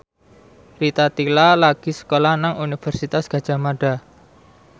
Rita Tila lagi sekolah nang Universitas Gadjah Mada